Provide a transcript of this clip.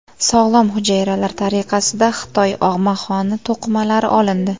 Sog‘lom hujayralar tariqasida Xitoy og‘maxoni to‘qimalari olindi.